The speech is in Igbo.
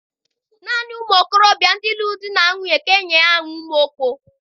Nanị ụmụ okorobịa ndị lụrụ di na nwunye ka e nyere aha Umuokpo.